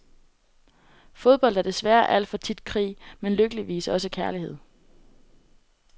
Fodbold er desværre alt for tit krig, men lykkeligvis også kærlighed.